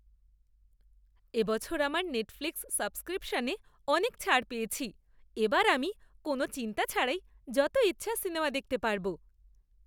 এবছর আমার নেটফ্লিক্স সাবস্ক্রিপশনে অনেক ছাড় পেয়েছি। এবার আমি কোনও চিন্তা ছাড়াই যত ইচ্ছা সিনেমা দেখতে পারবো।